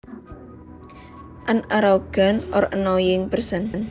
An arrogant or annoying person